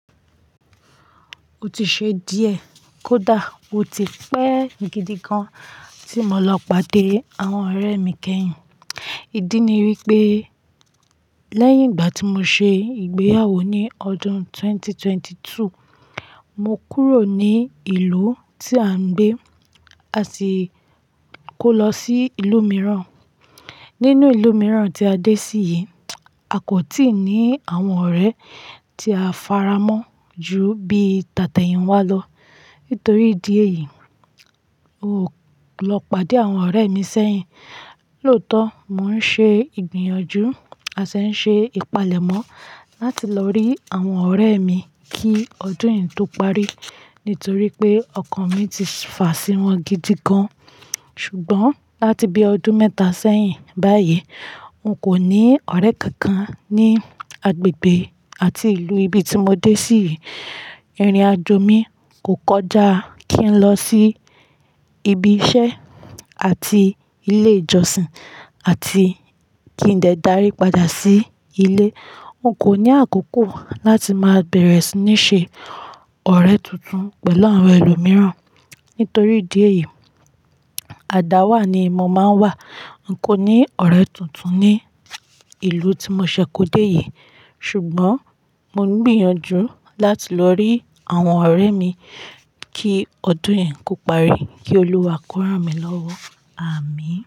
O ti ṣe díẹ̀ kó dá wo ti pẹ́ gidi gan tí mo lọ pàdé àwọn ọ̀rẹ́ mi kẹ́yìn. Ídí ni wípé lẹ́yìn ìgbà tí mo ṣe ìgbéyàwó ní ọdún ẹgbẹ̀rún méjì ó lé méjìlélógún, mo kúrò ní ìlú tí à ń gbé, a sì kó lọ sí ìlú mìíràn. Nínú ìlú mìíràn tí a dé sí yìí, a kò tíì ní àwọn ọ̀rẹ́ tí a faramọ́ jù bí tàtẹ̀yìnwá lọ. Nítorí ìdí èyí, o lọ pàdé àwọn ọ̀rẹ́ mi sẹ́yìn. Lótọ́, mò ń ṣe ìgbìyànjú a sì ń ṣe ìpalẹ̀mọ́ láti lọ rí àwọn ọ̀rẹ́ mi kí ọdún yìí tó parí. Nítorí pé ọkàn mi ti fà sí wọn gidi gan. Ṣùgbọ́n láti bí ọdún mẹ́ta sẹ́yìn báyìí, n kò ní ọ̀rẹ́ kankan ní agbègbè àti ìlú ibi tí mo dé sí. Irin-ajo mi kò kọjá kí n lọ sí ibi iṣẹ́ àti ilé ìjọsìn àti kí n lè dárí padà sí ilé. N kò ní àkókò láti máa bẹ̀rẹ̀ sí ní ṣe ọ̀rẹ́ tuntun pẹ̀lú àwọn ẹlòmíràn. Nítorí ìdí èyí, àdáwà ni mo máa ń wà. N kò ní ọ̀rẹ́ tuntun ní ìlú tí mo ṣẹ̀ kó dé yìí. Ṣùgbọ́n mò ń gbìyànjú láti lọ rí àwọn ọ̀rẹ́ mi kí ọdún yìí kó parí. Kí Olúwa kóra mi lọ́wọ́. Àmín.